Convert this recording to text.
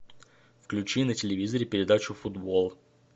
включи на телевизоре передачу футбол